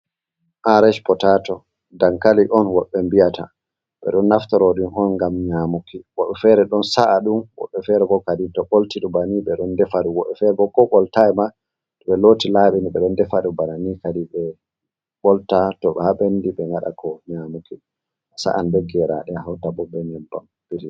Arsh potato dankali on woɓɓe mbi'ata ɓe ɗon naftaro ɗum on ngam nyamuki woɓɓe fere ɗon sa’aɗum, woɓɓe fere bo kadin to bolti ɗum banin ɓe ɗon defaɗum woɓɓe fere bo ko ɓoltai ma to ɓe loti laɓini ɓe ɗon defaɗum bana ni kadi ɓe ɓolta to ha ɓendi ɓe ngada ko nyamuki a sa’an be geraɗe a hauta bo be nyebbam.